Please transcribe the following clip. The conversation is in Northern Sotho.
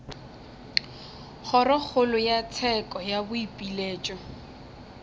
kgorokgolo ya tsheko ya boipiletšo